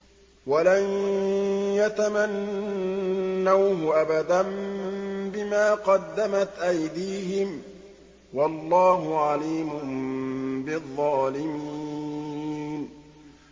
وَلَن يَتَمَنَّوْهُ أَبَدًا بِمَا قَدَّمَتْ أَيْدِيهِمْ ۗ وَاللَّهُ عَلِيمٌ بِالظَّالِمِينَ